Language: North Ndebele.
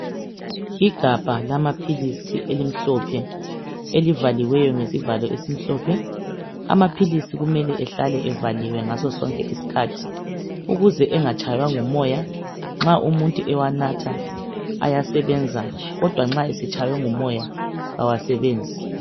Igabha lamaphilisi elimhlophe elivaliweyo ngesivalo esimhlophe. Amaphilisi kumele ehlale evaliwe ngasosonke isikhathi ukuze engatshaywa ngumoya, nxa umuntu ewanatha ayasebenza kodwa nxa esetshaywe ngumoya kawasebenzi.